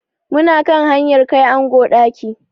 Mu na kan hanyar kai ango ɗaki.